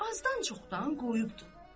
Azdan-çoxdan qoyubdur.